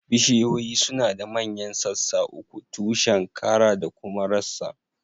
Bishiyoyi suna da manyan sassa uku, tushen, kara da kuma rassan